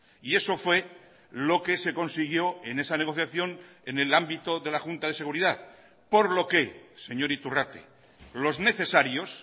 y eso fue lo que se consiguió en esa negociación en el ámbito de la junta de seguridad por lo que señor iturrate los necesarios